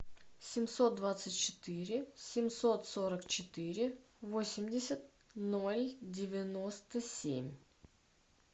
семьсот двадцать четыре семьсот сорок четыре восемьдесят ноль девяносто семь